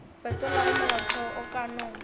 fetolago molaotheo o ka no